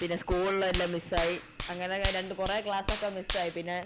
പിന്നെ school ൽ എല്ലാം miss ആയി അങ്ങനെ രണ്ടു കൊറേ class ഒക്കെ miss ആയി പിന്നെ